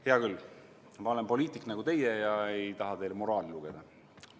Hea küll, ma olen poliitik nagu teie ega taha teile moraali lugeda.